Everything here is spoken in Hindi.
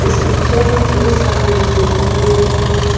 इस पिक्चर में कई सारे लोग दिखाई दे रहे है।